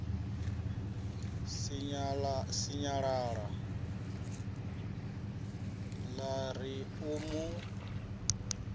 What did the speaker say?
sinyalala ḽa ri u mu